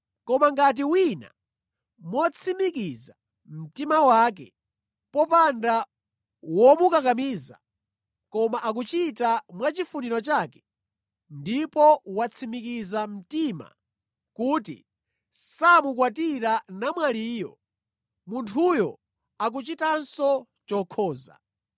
Koma ngati wina motsimikiza mtima wake, popanda womukakamiza, koma akuchita mwa chifuniro chake, ndipo watsimikiza mtima kuti samukwatira namwaliyo, munthuyu akuchitanso chokhoza.